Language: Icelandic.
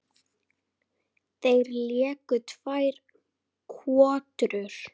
Þeir léku tvær kotrur.